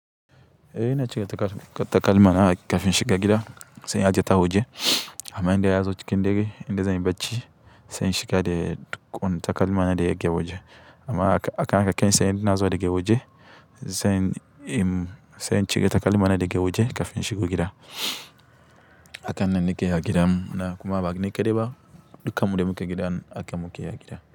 Eh ina cire takalmana kafin in shiga gida sai in aje ta a waje. Amma indai na zo cikin gida, inda zan yi bacci sai in shiga da takalmana da yake waje. Amma haka kai tsaye idan ina zuwa daga waje sai in cire takalmana daga waje kafin in shiga gida. Hakan nan nake yi a gida sannan kuma ba ni kaɗai ba dukan mu da muke gidan haka mukeyi a gida.